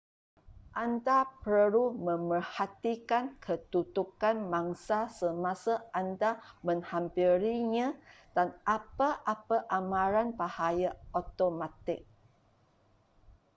anda perlu memerhatikan kedudukan mangsa semasa anda menghampirinya dan apa-apa amaran bahaya automatik